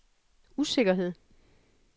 usikkerhed